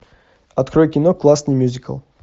открой кино классный мюзикл